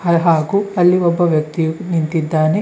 ಹಾಗು ಅಲ್ಲಿ ಒಬ್ಬ ವ್ಯಕ್ತಿಯು ನಿಂತಿದ್ದಾನೆ.